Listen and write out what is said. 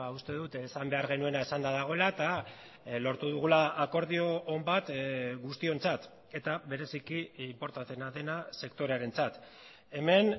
uste dut esan behar genuena esanda dagoela eta lortu dugula akordio on bat guztiontzat eta bereziki inportanteena dena sektorearentzat hemen